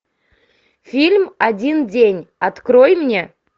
фильм один день открой мне